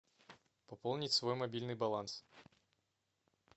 пополнить свой мобильный баланс